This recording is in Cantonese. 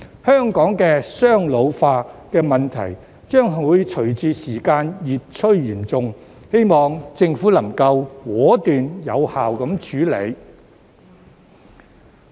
香港的"雙老化"問題將隨着時間越趨嚴重，希望政府能夠果斷、有效處理。